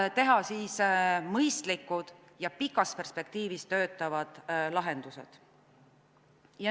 ... ja teha mõistlikud ja pikas perspektiivis töötavad lahendused.